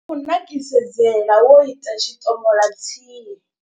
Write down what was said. U nakisedzela wo ita tshiṱomola tsie.